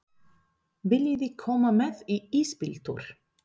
Viljiði koma með í ísbíltúr?